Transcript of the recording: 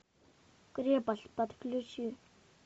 крепость подключи